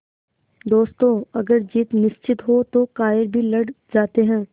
दोस्तों अगर जीत निश्चित हो तो कायर भी लड़ जाते हैं